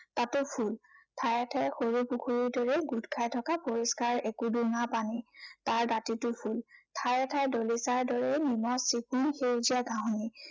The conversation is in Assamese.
তাতো ফুল। ঠায়ে ঠায়ে সৰু পুখুৰীৰ দৰে গোট খাই থকা পৰিস্কাৰ একো ডোঙা পানী। তাৰ দাঁতিটো ফুল। ঠায়ে ঠায়ে দলিচাৰ দৰে নিমজ এখিনি সেউজীয়া ঘাঁহনি।